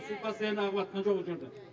су постоянно ағыватқан жоқ о жерде